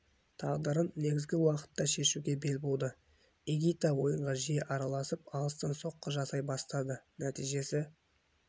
тағдырын негізгі уақытта шешуге бел буды игита ойынға жиі араласып алыстан соққы жасай бастады нәтижесі